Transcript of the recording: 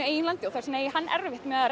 eigin landi og þess vegna eigi hann erfitt með að